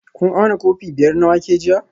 Kun auna kofi biyar na wake jiya?